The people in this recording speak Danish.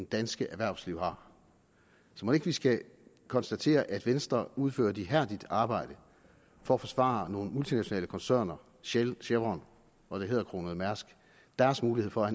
danske erhvervsliv har så mon ikke vi skal konstatere at venstre udfører et ihærdigt arbejde for at forsvare nogle multinationale koncerner shell chevron og det hæderkronede mærsk og deres mulighed for at